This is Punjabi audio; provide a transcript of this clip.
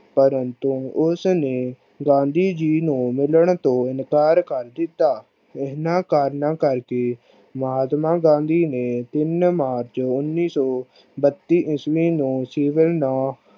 ਪਰੰਤੁ ਉਸ ਨੂੰ ਗਾਂਧੀ ਜੀ ਨੂੰ ਮਿਲਣ ਤੋਂ ਇਨਕਾਰ ਕਰ ਦਿਤਾ। ਉਹਨਾਂ ਕਾਰਨਾਂ ਕਰ ਕੇ ਮਹਾਤਮਾ ਗਾਂਧੀ ਨੇ ਤਿੰਨ march ਉਨੀ ਸੋ ਈਸਵੀ ਨੀ ਸਿਵਨ ਦਾ